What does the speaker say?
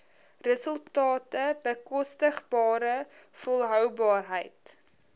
resultate bekostigbare volhoubaarheid